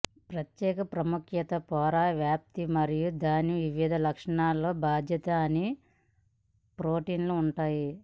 ప్రత్యేక ప్రాముఖ్యత పొర వ్యాప్తి మరియు దాని వివిధ లక్షణాలకు బాధ్యత అని ప్రోటీన్లు ఉంటాయి